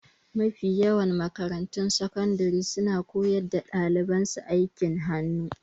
Mafi yawan makarantun sakandire suna koya wa daliban su aikin hannu